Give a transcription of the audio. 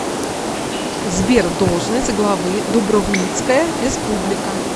сбер должность главы дубровницкая республика